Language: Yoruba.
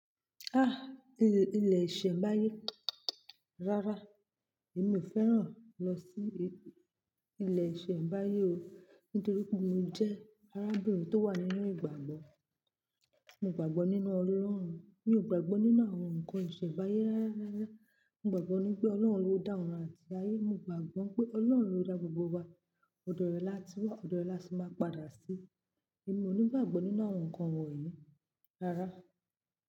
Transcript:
Ah, il-ilẹ̀ ìṣẹ̀mbáyé rárá, èmi ò fẹ́ràn lọ sí ilẹ̀ ìṣẹ̀mbáyé o nítorí pé mo jẹ́ arábìnrin tó wà nínú ìgbàgbọ́. Mo gbàgbọ́ nínú Ọlọ́run, mi ò gbàgbọ́ nínú àwọn ǹkan ìṣẹ̀mbáyé rárá. Mo gbàgbọ́ nipé Ọlọ́run ló dá òrun àti ayé, mo gbàgbọ́ pé Ọlọ́run ló dá gbogbo wa. Ọ̀dọ̀ rẹ̀ láti wá, ọ̀dọ̀ rẹ̀ lásì máa padà sí. Èmi ò ní gbàgbọ́ nínú àwọn ǹkan wọ̀nyí rárá.